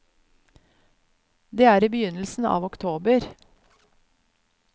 Det er i begynnelsen av oktober.